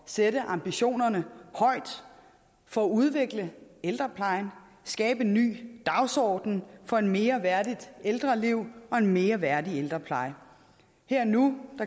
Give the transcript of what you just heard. sætte ambitionerne højt for at udvikle ældreplejen skabe en ny dagsorden for et mere værdigt ældreliv og en mere værdig ældrepleje her og nu